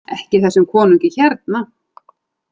EKKI ÞESSUM KONUNGI HÉRNA!